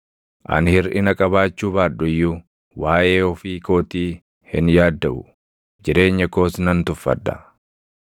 “Ani hirʼina qabaachuu baadhu iyyuu, waaʼee ofii kootii hin yaaddaʼu; jireenya koos nan tuffadha.